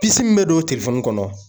Pisi min be don kɔnɔ